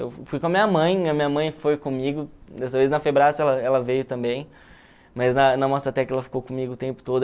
Eu fui com a minha mãe, a minha mãe foi comigo, dessa vez na ela ela veio também, mas na na Mostratec ela ficou comigo o tempo todo.